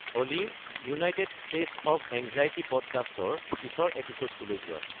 Ollie United States of Anxiety পডকাষ্টৰ পিছৰ এপিছ'ডটোলৈ যোৱা